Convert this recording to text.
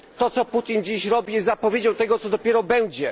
To, co Putin dziś robi, jest zapowiedzią tego, co dopiero będzie.